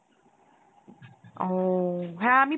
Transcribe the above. ও, হ্যাঁ আমি